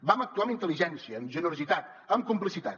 vam actuar amb intel·ligència amb generositat amb complicitat